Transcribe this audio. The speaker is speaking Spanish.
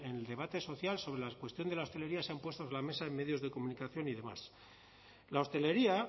en el debate social sobre la cuestión de la hostelería se han puesto sobre la mesa en medios de comunicación y demás la hostelería